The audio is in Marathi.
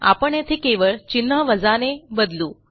आपण येथे केवळ चिन्ह वजाने बदलू